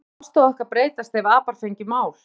Skyldi þessi afstaða okkar breytast ef apar fengju mál?